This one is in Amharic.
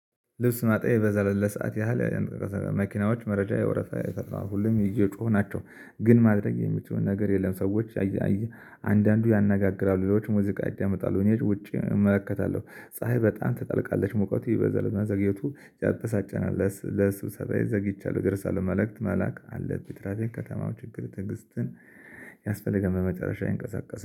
ልብስ ማጠቢዬ በዘለለ ሰዓት ያህል መኪናዎች መረጃ የወረፍ የፈጥራል ሁሉም እየጮሁ ናቸው። ግን ማድረግ የምችለው ነገር የለም ሰዎች አንድአንዱ ያነጋግራሉ። ሌሎቹ ሙዚቃ ያዳምጣሉ። እኔ ውጪ እመለከታለሁ ፀሀይ በጣም ትጠልቃለች። ሙቀቱ ይበዛልና መዘግየቱ ያበሳጨናል። ለስብሰባዬ ዘግቻለሁ እደርሳለሁ። መልእክት መላክ አለብኝ። የትራፊክ ከተማው ችግር ትግስትን ያስፈልጋል። በመጨረሻ ይንቀሳቀሳል።